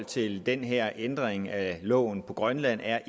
til den her ændring af loven i grønland er